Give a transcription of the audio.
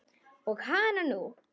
Og hananú!